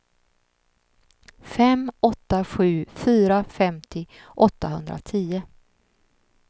fem åtta sju fyra femtio åttahundratio